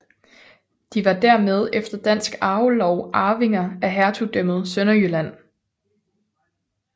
De var dermed efter dansk arvelov arvinger af hertugdømmet Sønderjylland